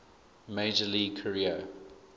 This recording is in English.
major league career